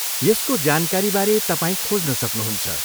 यसको जानकारीबारे तपाईँ खोज्न सक्नुहुन्छ।